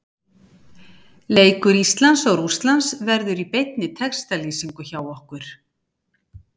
Leikur Íslands og Rússlands verður í beinni textalýsingu hjá okkur.